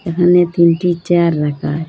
এখানে তিনটি চেয়ার রাখা হয়।